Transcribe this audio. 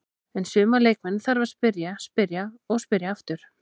En suma leikmenn þarf að spyrja, spyrja og spyrja aftur.